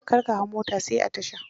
Kar ka hau mota sai a tasha.